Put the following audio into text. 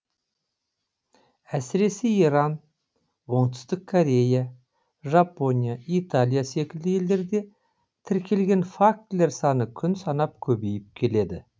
әсіресе иран оңтүстік корея жапония италия секілді елдерде тіркелген фактілер саны күн санап көбейіп келеді